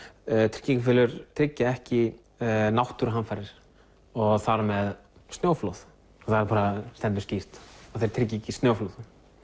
tryggingafélög tryggja ekki náttúruhamfarir og þar með snjóflóð það bara stendur skýrt að þeir tryggja ekki snjóflóð